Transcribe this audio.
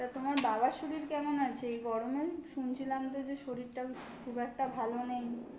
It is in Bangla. তা তোমার বাবার শরীর কেমন আছে? এই গরমে? শুনছিলাম তো যে শরীরটা খুব একটা ভালো নেই।